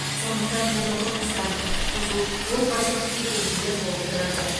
сондықтан түрлі қылмыстар құқық бұзу отбасылық кикілжіңдер болып тұрады